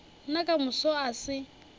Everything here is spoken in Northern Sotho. nna ka moso a se